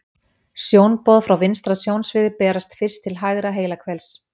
Sjónboð frá vinstra sjónsviði berast fyrst til hægra heilahvels.